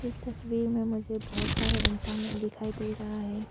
इस तस्वीर में मुझे बहोत सारे इंसान दिखाई दे रहा है।